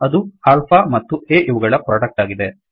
ಅದು ಆಲ್ಫಾ ಮತ್ತು a ಇವುಗಳ ಪ್ರೊಡಕ್ಟ್ಆಗಿದೆ